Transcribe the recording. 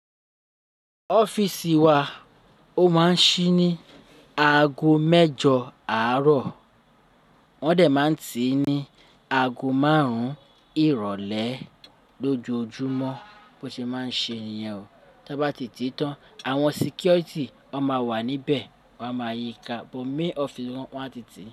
Ọ́fíìsì wa ó máa ń ṣí ní ago mẹ́jọ àárọ̀. Wọ́n de máa tii ní ago márùn-ún ìrólé lójoojúmọ́ bó ṣe máa ń ṣe niyen o. Tí a báti tán, àwọn sikiọ̀tì won máa wà níbẹ̀, wọ́n a máa yíka, bó main ọ́fíìsì wọn a titi.